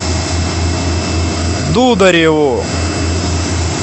дудареву